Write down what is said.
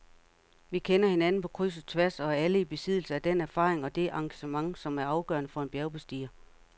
Vi kender hinanden på kryds og tværs og er alle i besiddelse af den erfaring og det engagement, som er afgørende for en bjergbestiger.